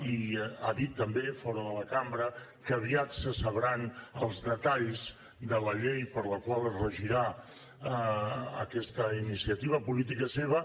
i ha dit també fora de la cambra que aviat se sabran els detalls de la llei per la qual es regirà aquesta iniciativa política seva